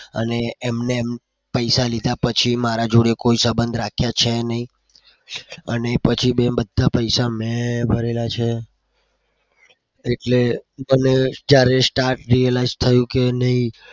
અને એમને પૈસા લીધા પછી મારા જોડે કોઈ સબંધ રાખ્યા છે નહી અને પછી મેં બધા પૈસા મેં ભરેલા છે. અને એટલે ત્યારે start realise થયું કે નહી?